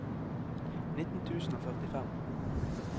nitten tusen og førtifem